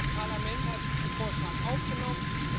Das Parlament hat diesen Vorschlag aufgenommen.